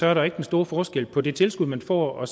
er der ikke den store forskel på det tilskud man får og